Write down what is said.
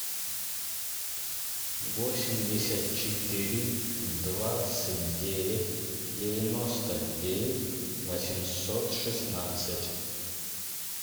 восемьдесят четыре двадцать девять девяносто девять восемьсот шестнадцать